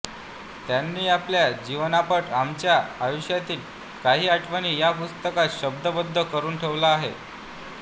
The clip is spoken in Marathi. त्यांनी आपला जीवनपट आमच्या आयुष्यातील काही आठवणी या पुस्तकात शब्दबद्ध करून ठेवला आहे